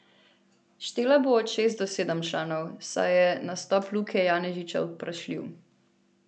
Štela bo od šest do sedem članov, saj je nastop Luke Janežiča vprašljiv.